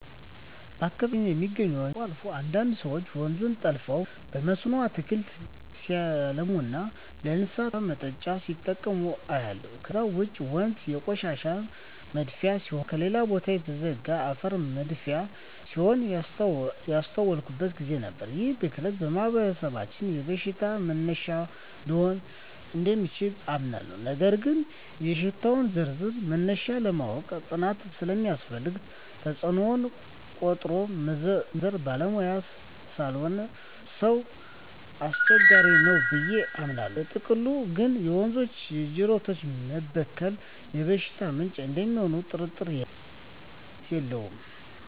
በአካባቢየ የሚገኙ ወንዞች አልፎ አልፎ አንዳንድ ሰወች ወንዙን ጠልፈው በመስኖ አትክልት ሲያለሙና ለእንስሳት ውሃ ማጠጫ ሲጠቀሙ አያለሁ። ከዛ ውጭ ወንዞ የቆሻሻ መድፊያ ሲሆኑና ከሌላ ቦታ የተጋዘ አፈር መድፊያ ሲሆኑም ያስተዋልኩበት ግዜ ነበር። ይህ ብክለት በማህበረሰባችን የበሽታ መነሻ ሊሆን እደሚችል አምናለሁ ነገር ግን የሽታወች ዝርዝርና መነሻ ለማወቅ ጥናት ስለሚያስፈልገው ተጽኖውን ቆጥሮ መዘርዘር ባለሙያ ላልሆነ ሰው አስቸጋሪ ነው ብየ አምናለው። በጥቅሉ ግን የወንዞችና የጅረቶች መበከል የበሽታ ምንጭ እደሚሆኑ ጥርጥር የለውም።